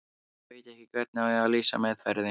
Ég veit ekki hvernig á að lýsa meðferðinni.